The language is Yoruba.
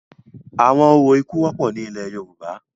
Awọn orȯ iku wọpọ ni ilẹ Yoruba